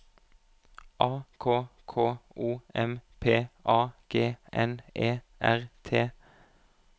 A K K O M P A G N E R T